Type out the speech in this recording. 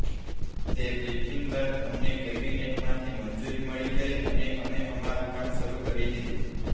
તે બ્રિફિંગ બાદ અમને કેબિનેટમાંથી મંજૂરી મળી ગઈ અને અમે અમારું કામ શરૂ કરી દીધુ